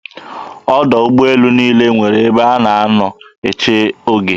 Ọdọ ụgbọelu niile nwere ebe a na-anọ eche oge.